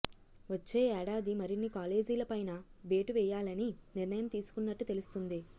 వచ్చే ఏడాది మరిన్ని కాలేజీలపైనా వేటు వేయాలని నిర్ణయం తీసుకున్నట్టు తెలుస్తోంది